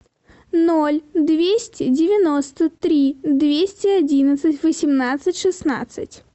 ноль двести девяносто три двести одиннадцать восемнадцать шестнадцать